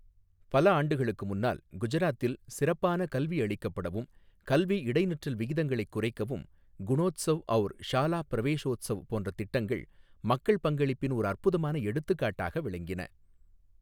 பல ஆண்டுகளுக்கு முன்னால், குஜராத்தில், சிறப்பான கல்வியளிக்கப்படவும், கல்வி இடைநிற்றல் விகிதங்களைக் குறைக்கவும், குணோத்ஸவ் ஔர் ஷாலா பிரவேஷோத்ஸவ் போன்ற திட்டங்கள் மக்கள் பங்களிப்பின் ஒரு அற்புதமான எடுத்துக்காட்டாக விளங்கின.